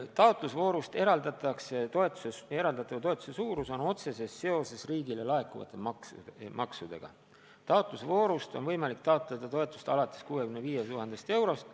Taotlusvoorus eraldatava toetuse suurus on otseses seoses riigile laekuvate maksudega, võimalik on taotleda toetust alates 65 000 eurost.